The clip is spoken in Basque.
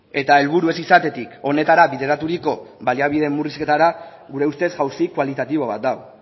eta helburu ez izatetik honetara bideraturiko baliabide murrizketara gure ustez jauzi kualitatibo bat da